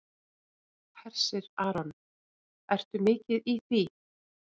Hersir Aron: Ertu mikið í því?